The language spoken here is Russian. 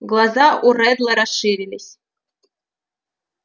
глаза у реддла расширились